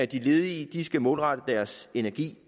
de ledige skal målrette deres energi